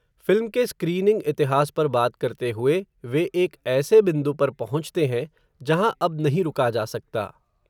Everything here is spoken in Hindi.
फ़िल्म के स्क्रीनिंग इतिहास पर बात करते हुए, वे एक ऐसे बिन्दु पर पहुँचते है, जहाँ अब नहीं रुका जा सकता